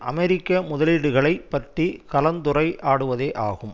அமெரிக்க முதலீடுகளைப் பற்றி கலந்துரையாடுவதேயாகும்